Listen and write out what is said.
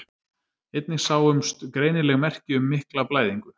Einnig sáumst greinileg merki um mikla blæðingu.